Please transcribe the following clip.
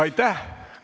Aitäh!